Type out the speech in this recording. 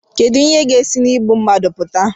kedu ihe ga-esi na igbu mmadụ pụta